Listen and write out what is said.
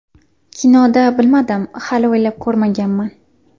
Kinoda bilmadim, hali o‘ylab ko‘rmaganman.